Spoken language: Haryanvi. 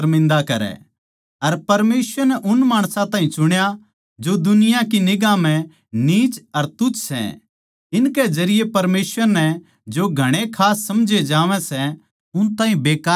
अर परमेसवर नै उन माणसां ताहीं चुण्या जो दुनिया की निगांह म्ह नीच अर तुच्छ सै इनके जरिये परमेसवर नै जो घणे खास समझे जावै सै उन ताहीं बेकार ठैहरा दिया